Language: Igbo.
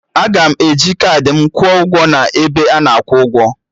Aga m eji kaadị m kwuo ụgwọ n'ebe ana akwụ ụgwọ